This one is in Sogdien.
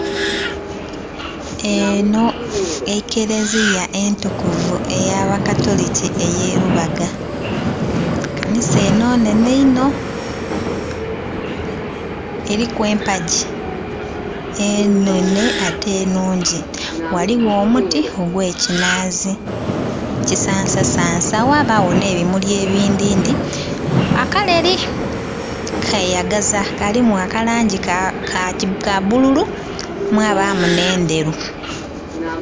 Eno ekereziya entukuvu eya bakatuliki ey'elubaga, kanisa eno nnhenhe inho eriku empaji enhenhe ate nnhunji ghaligho omuti ogwe kinazi kisansasansa ghabagho n'ebimuli ebindhi ndhi akaleri keyagaza kalimu akalangi ka bbululu mwabamu n'endheru.